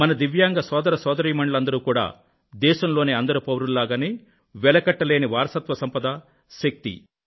మన దివ్యాంగ సోదరసోదరీమణులందరూ కూడా దేశంలోని అందరు పౌరుల్లాగానే వెలకట్టలేని వారసత్వ సంపద శక్తి